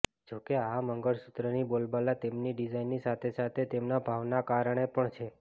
જો કે આ મંગળસૂત્રની બોલબાલા તેમની ડીઝાઇનની સાથે સાથે તેમના ભાવના કારણે પણ છે